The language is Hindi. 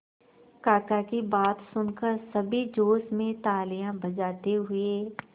काका की बात सुनकर सभी जोश में तालियां बजाते हुए